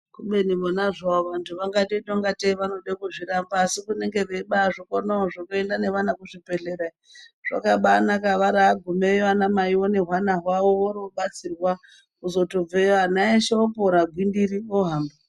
Zvavo vangateita ingatei vanode kuzviramba asi kunenge kweibaazvikonawo zvekuende nevana kuzvibhedhlera. Zvakabaanaka varaagumeyo ana maivo nehwana hwawo vorootobatsirwa kuzotobveyo ana eshe opora gwindiri ohamba.